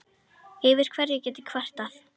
Yfir hverju get ég kvartað?